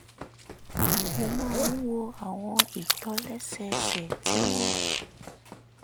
mo máa ń wo àwọn ìtòlẹ́sẹẹsẹ tí wọ́n